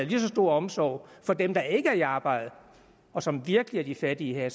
lige så stor omsorg for dem der ikke er i arbejde og som virkelig er de fattige her